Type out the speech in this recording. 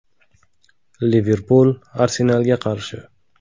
“Liverpul” “Arsenal”ga qarshi.